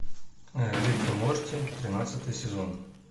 рик и морти тринадцатый сезон